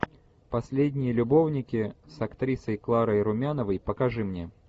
последние любовники с актрисой кларой румяновой покажи мне